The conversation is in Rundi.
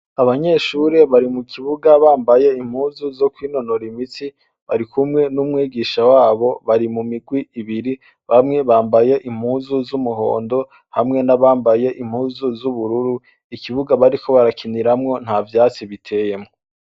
Abanyeshure bari mu kibuga bambaye impuzu zo kwinonora imitsi. Bari kumwe n'umwigisha wabo. Bari mu mugwi ibiri : bamwe bambaye impuzu z'umuhondo, hamwe n'abambaye impuzu z'ubururu. Ikibuga bariko barakiniramwo, nta vyatsi biteyemwo.